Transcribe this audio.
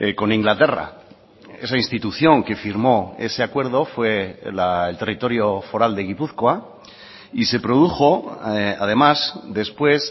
con inglaterra esa institución que firmó ese acuerdo fue el territorio foral de gipuzkoa y se produjo además después